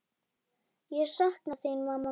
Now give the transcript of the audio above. Ég sakna þín, mamma mín.